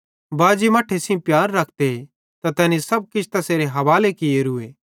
परमेशर बाजी मट्ठे सेइं प्यार रखते त तैनी सब किछ तैसेरे हावाले कियोरूए